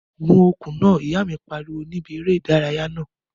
Gun okùn náà! Ìyá mi pariwo ní bi eré ìdárayá naa